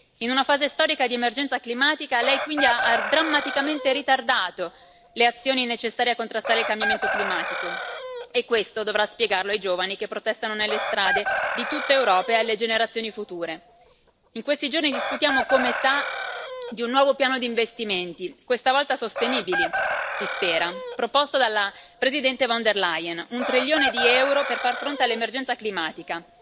In una fase storica di emergenza climatica, Lei ha quindi drammaticamente ritardato le azioni necessarie a contrastare il cambiamento climatico e questo dovrà spiegarlo ai giovani che protestano nelle strade di tutta Europa e alle generazioni future. In questi giorni, discutiamo, come sa, di un nuovo piano di investimenti, questa volta sostenibili, si spera, proposto dalla Presidente von der Leyen un trilione di euro per far fronte all'emergenza climatica.